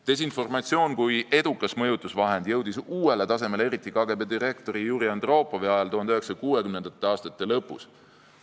Desinformatsioon kui edukas mõjutusvahend jõudis uuele tasemele eriti KGB direktori Juri Andropovi ajal 1960. aastate lõpus.